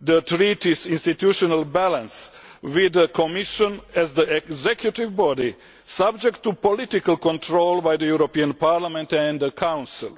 the Treaties' institutional balance, with the Commission as the executive body, subject to political control by the European Parliament and the Council.